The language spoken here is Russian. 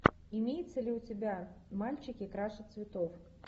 имеется ли у тебя мальчики краше цветов